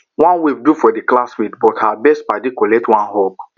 one wave do for the classmate but her best paddy collect one hug